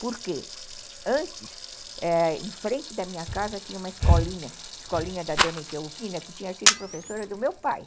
Porque antes, em frente da minha casa, tinha uma escolinha, a escolinha da dona Etelvina, que tinha sido professora do meu pai.